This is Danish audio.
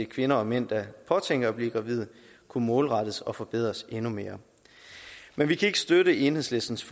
kvinder og mænd der påtænker at blive gravide kunne målrettes og forbedres endnu mere men vi kan ikke støtte enhedslistens